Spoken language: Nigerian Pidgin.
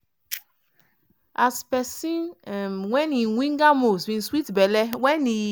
as pesin um wey im winger moves bin sweet belle wen e